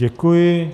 Děkuji.